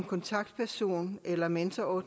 kontaktperson eller mentor og